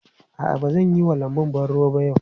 A'a, ba zan yi wa lanbun ban ruwa ba yau.